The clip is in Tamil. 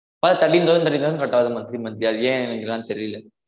ப thirteen thousand thirteen thousand cut ஆவுது monthly monthly அது ஏனு எனக்கு தான் தெரில